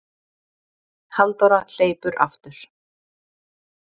Halldóra hleypur aftur.